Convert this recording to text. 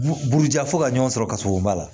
Bu buruja fo ka ɲɔn sɔrɔ ka sɔrɔ u ma